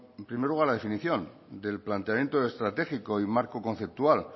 en primer lugar la definición del planteamiento estratégico y marco conceptual